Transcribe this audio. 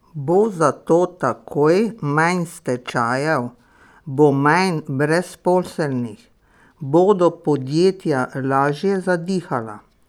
Bo zato takoj manj stečajev, bo manj brezposelnih, bodo podjetja lažje zadihala?